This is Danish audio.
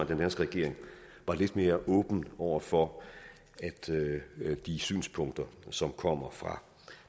den danske regering var lidt mere åben over for de synspunkter som kommer fra